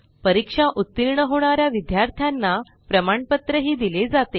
परीक्षेत उत्तीर्ण होणाऱ्या विद्यार्थ्यांना प्रमाणपत्र दिले जाते